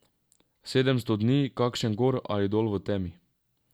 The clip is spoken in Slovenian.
Sedemsto dni, kakšen gor ali dol, v temi.